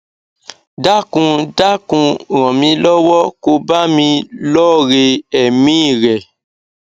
dákun dákun ràn mí lọwọ ko bá mi lọre èmí i rẹ